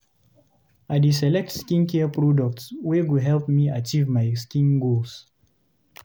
I dey select skincare products wey go help me achieve my skin goals.